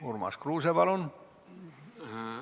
Urmas Kruuse, palun!